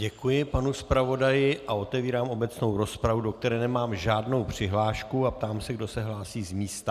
Děkuji panu zpravodaji a otevírám obecnou rozpravu, do které nemám žádnou přihlášku, a ptám se, kdo se hlásí z místa.